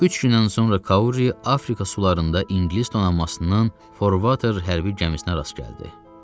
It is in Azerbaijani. Üç gün sonra Kauri Afrika sularında İngilis donanmasının For Water hərbi gəmisinə rast gəldi.